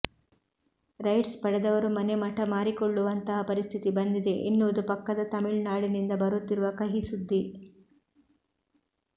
rights ಪಡೆದವರು ಮನೆಮಠ ಮಾರಿಕೊಳ್ಳುವಂತಹ ಪರಿಸ್ಥಿತಿ ಬಂದಿದೆ ಎನ್ನುವುದು ಪಕ್ಕದ ತಮಿಳುನಾಡಿನಿಂದ ಬರುತ್ತಿರುವ ಕಹಿಸುದ್ದಿ